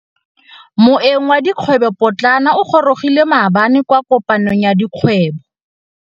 Moêng wa dikgwêbô pôtlana o gorogile maabane kwa kopanong ya dikgwêbô.